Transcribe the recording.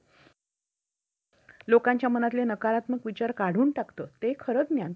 insurance declared value असे म्हणतात आणि वाहनांची त्यावेळची पात्रातील किंमत त्यात प्रतिबिंब व्हायला हवी तृतीय पक्ष दायित्व संरक्षणासाठी